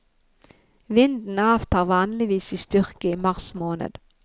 Vinden avtar vanligvis i styrke i mars måned.